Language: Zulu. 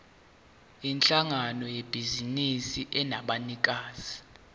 yinhlangano yebhizinisi enabanikazi